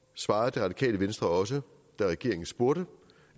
svarede det radikale venstre også da regeringen spurgte